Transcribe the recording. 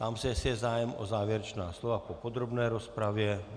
Ptám se, jestli je zájem o závěrečná slova po podrobné rozpravě.